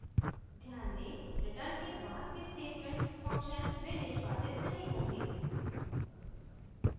ध्यान दें return के बाद के statements function में निष्पादित नहीं होंगे